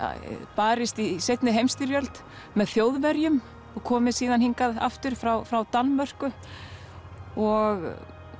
barist í seinni heimsstyrjöld með Þjóðverjum og komið síðan hingað aftur frá frá Danmörku og